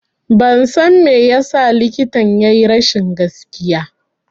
Ban san me yasa likitan ya yi rashin gaskiya